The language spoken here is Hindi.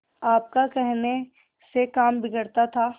आपका कहने से काम बिगड़ता था